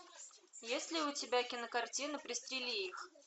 есть ли у тебя кинокартина пристрели их